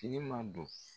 Tile ma don